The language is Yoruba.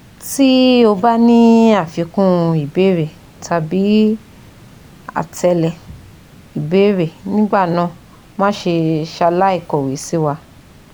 Ti o ba ni afikun ìbéèrè tabi atele ìbéèrè nigbana mase salai kọ́we siwa